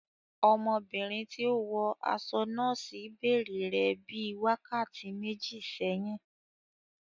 Ọmọbìnrin tí ó wọ aṣọ nọ́ọ́sì bèrè rẹ ní bíi wákàtí méjì sẹ́yìn.